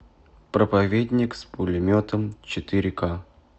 проповедник с пулеметом четыре ка